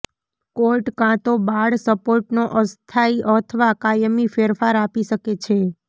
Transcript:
court કાં તો બાળ સપોર્ટનો અસ્થાયી અથવા કાયમી ફેરફાર આપી શકે છે